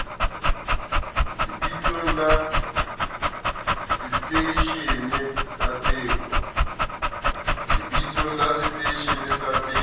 lebitsong la seteishene sa teko